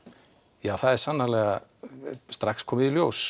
já sannarlega strax komið í ljós